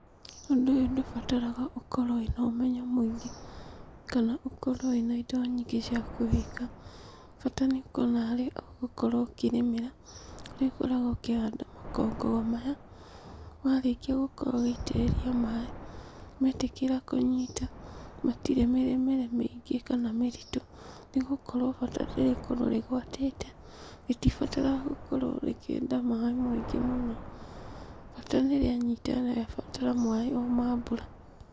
Ũndũ ũyũ ndũbataraga ũkorwo wĩna ũmenyo mũingĩ kana ũkorwo wĩna indo nyingĩ ciakũ kũwĩka. Bata nĩ ũkorwo na harĩa ũgũkorwo ũkĩrĩmĩra harĩa ũkoragwo ũkũhanda makongo o maya, warĩkia gũkorwo ũgĩitĩrĩria maaĩ. Metĩkĩra kũnyita matirĩ mĩrĩmĩre mĩingĩ kana mĩritu. Nĩ gũkorwo bata nĩ rĩkorwo rĩgwatĩte, rĩtibataraga gũkorwo rĩkĩenda maaĩ maingĩ mũno bata nĩ rĩanyita rĩrabatara maaĩ o ma mbura.